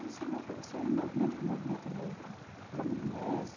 E o seu envol seu envolvimento com o movimento negro, como começa?